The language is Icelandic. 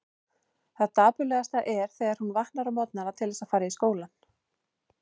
Það dapurlegasta er þegar hún vaknar á morgnana til þess að fara í skólann.